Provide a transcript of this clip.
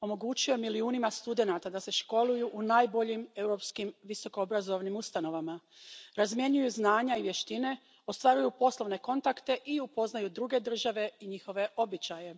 Omogućio je milijunima studenata da se školuju u najboljim europskim visokoobrazovnim ustanovama, razmjenjuju znanja i vještine, ostvaruju poslovne kontakte i upoznaju druge države i njihove običaje.